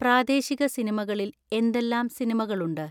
പ്രാദേശിക സിനിമകളിൽ എന്തെല്ലാം സിനിമകളുണ്ട്